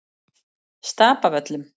Stapavöllum